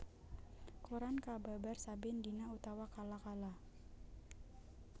Koran kababar saben dina utawa kala kala